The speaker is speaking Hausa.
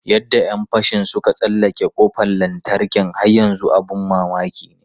Yadda ‘yan fashin suka tsallake kofar lantarki har yanzu abin mamaki ne.